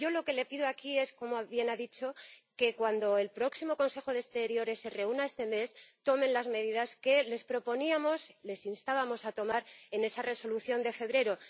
Y yo lo que le pido aquí es —como bien ha dicho— que, cuando el próximo Consejo de Asuntos Exteriores se reúna este mes, tomen las medidas que les proponíamos, les instábamos a tomar en esa Resolución de febrero.